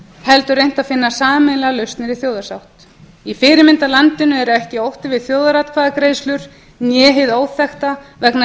heldur reynt að finna sameiginlegar lausnir í þjóðarsátt í fyrirmyndarlandinu er ekki ótti við þjóðaratkvæðagreiðslur né hið óþekkta vegna þess